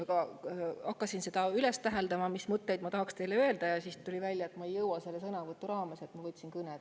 Aga kui hakkasin üles tähendama, mis mõtteid ma tahaks teile öelda, siis tuli välja, et ma ei jõua seda sõnavõtu raames, ja võtsin kõne.